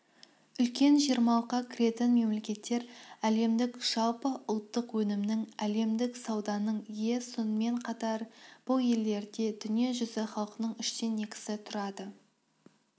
үлкен жиырмалыққа кіретін мемлекеттер әлемдік жалпы ұлттық өнімнің әлемдік сауданың ие сонымен қатар бұл елдерде дүние жүзі халқының үштен екісі тұрады